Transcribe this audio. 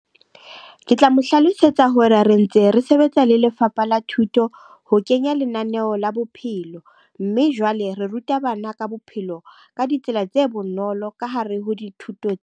Ke tla mo hlalosetsa hore re ntse re sebetsa le lefapha la thuto ho kenya lenaneo la bophelo. Mme jwale re ruta bana ka bophelo, ka ditsela tse bonolo ka hare ho dithuto.